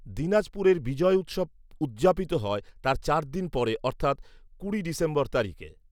দিনাজপুরে বিজয় উৎসব উদযাপিত হয় তার চার দিন পরে অর্থাৎ কুড়ি ডিসেম্বর তারিখে